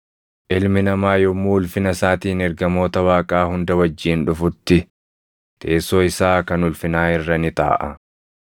“Ilmi Namaa yommuu ulfina isaatiin ergamoota Waaqaa hunda wajjin dhufutti, teessoo isaa kan ulfinaa irra ni taaʼa.